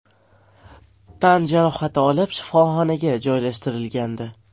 tan jarohati olib, shifoxonaga joylashtirilgandi.